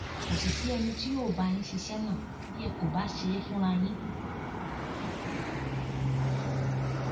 kò sì sí ẹni tí yóò bá yín ṣiṣẹ náà bí ẹ kò bá ṣe é fúnra yín